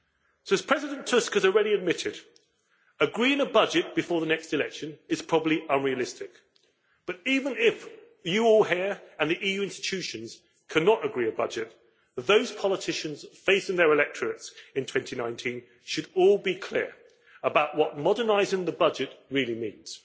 So, as President Tusk has already admitted, agreeing a budget before the next election is probably unrealistic, but even if all of you here and the EU institutions cannot agree on a budget, those politicians facing their electorates in 2019 should all be clear about what modernising the budget really means,